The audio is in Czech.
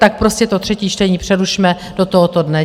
Tak prostě to třetí čtení přerušme do tohoto dne.